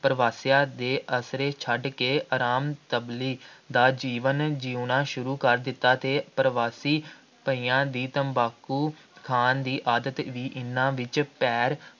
ਪ੍ਰਵਾਸੀਆਂ ਦੇ ਆਸਰੇ ਛੱਡ ਕੇ ਆਰਾਮ ਦਾ ਜੀਵਨ ਜਿਉਣਾ ਸ਼ੁਰੂ ਕਰ ਦਿੱਤਾ ਅਤੇ ਪ੍ਰਵਾਸੀ ਭਈਆਂ ਦੀ ਤੰਬਾਕੂ ਖਾਣ ਦੀ ਆਦਤ ਵੀ ਇਹਨਾ ਵਿੱਚ ਪੈਰ